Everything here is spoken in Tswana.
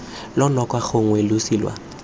lwa noka gongwe losi lwa